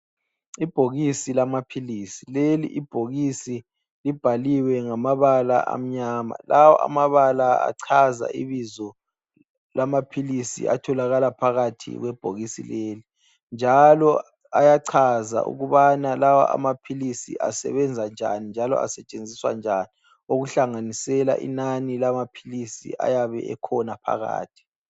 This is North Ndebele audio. Ibhokisi lamaphilisi, leli ibhokisi libhaliwe ngamabala amnyama. Lawa amabala ayachaza ibizo lamaphilisi atholakala phakathi kwebhokisi leli njalo achaza ukubana lawa amaphilisi asebenza njani njalo asetshenziswa njani okuhlanganisela inani lamaphilisi ayabe ekhona phakathi.